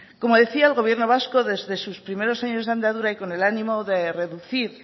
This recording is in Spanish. como decía el gobierno vasco desde sus primeros años de andadura y con el ánimo de reducir